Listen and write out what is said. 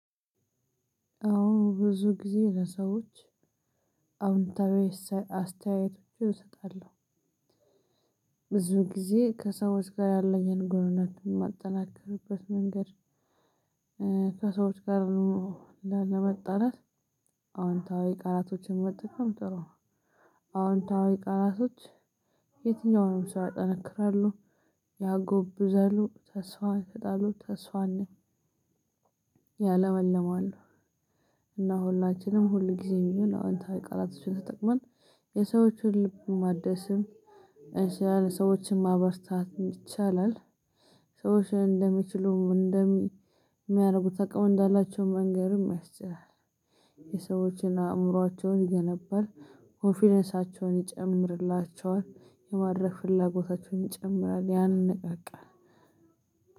አወ ብዙ ጊዜ ለሰዎች አውንታዊ አስተያየቶችን እሰጣለሁ። ብዙ ጊዜ ከሰዎች ጋር ያለኝን ግንኙነት የማጠናክርበት መንገድ። ከሰወች ጋር ላለመጣላት አወንታዊ ቃላቶችን መጠቀም ጥሩ ነው። አወንታዊ ቃላቶይ የትኛውንም ሰው ያጠነክራሉ ያጎብዛሉ ተስፍ ይሰጣሉ ተስፍን ያለመልማሉ። እና ሁላችንም ሁልጊዜም ቢሆን አወንታዊ ቃላቶችን ተጠቅመን የሰዎችን ልብ ማደስም እችላለን ሰዎችንም ማበርታት ይቻላል። ሰዎች እንደሚችሉ እንደሚያደርጉት አቅምእዳላቸው መንገርም ያስችላል። የሰዎችን አእምሮአቸውን ይገነባል ኮንፊደንሳቸውን ይጨምርላቸዋል የማድረግ ፍላጎታቸውን ይጨምራል።